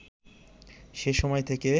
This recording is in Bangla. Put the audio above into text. সে সময় থেকে